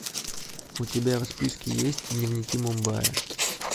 у тебя в списке есть дневники мумбая